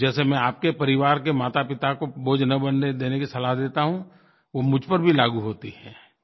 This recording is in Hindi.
तो जैसे मैं आपके परिवार के मातापिता को बोझ न बनने देने की सलाह देता हूँ वो मुझ पर भी लागू होती हैं